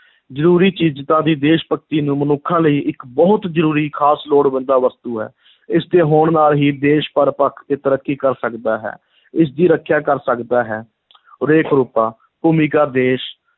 ਜ਼ਰੂਰੀ ਚੀਜ਼ਾਂ ਵੀ ਦੇਸ਼-ਭਗਤੀ ਨੂੰ ਮਨੁੱਖਾਂ ਲਈ ਇੱਕ ਬਹੁਤ ਜ਼ਰੂਰੀ ਖ਼ਾਸ ਲੋੜਵੰਦਾ ਵਸਤੂ ਹੈ, ਇਸ ਦੇ ਹੋਣ ਨਾਲ ਹੀ ਦੇਸ਼ ਹਰ ਪੱਖ ਤੇ ਤਰੱਕੀ ਕਰ ਸਕਦਾ ਹੈ ਇਸ ਦੀ ਰੱਖਿਆ ਕਰ ਸਕਦਾ ਹੈ ਰੇਖ-ਰੂਪਾ, ਭੂਮਿਕਾ ਦੇਸ਼